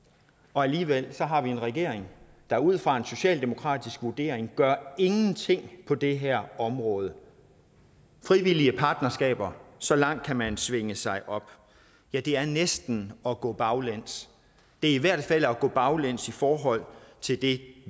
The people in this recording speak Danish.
alligevel har vi en regering der ud fra en socialdemokratisk vurdering gør ingenting på det her område frivillige partnerskaber så langt kan man svinge sig op ja det er næsten at gå baglæns det er i hvert fald at gå baglæns i forhold til det